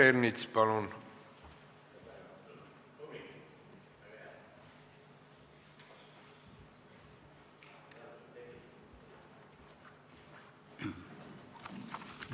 Peeter Ernits, palun!